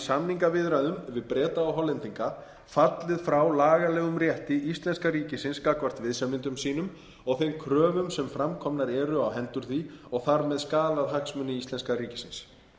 samningaviðræðum við breta og hollendinga fallið frá lagalegum rétti íslenska ríkisins gagnvart viðsemjendum sínum og þeim kröfum sem framkomnar eru á hendur því og þar með skaðað hagsmuni íslenska ríkisins